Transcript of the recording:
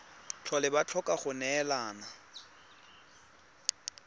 tlhole ba tlhoka go neelana